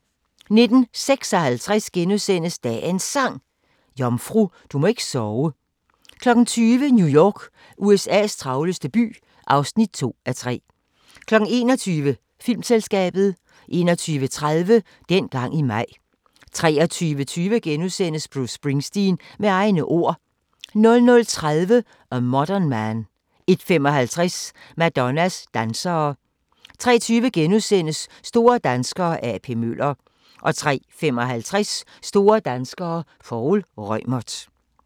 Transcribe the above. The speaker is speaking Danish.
19:56: Dagens Sang: Jomfru, du må ikke sove * 20:00: New York – USA's travleste by (2:3) 21:00: Filmselskabet 21:30: Dengang i maj 23:20: Bruce Springsteen – med egne ord * 00:30: A Modern Man 01:55: Madonnas dansere 03:20: Store danskere – A.P. Møller * 03:55: Store danskere - Poul Reumert